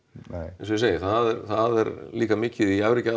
eins og ég segi það er líka mikið í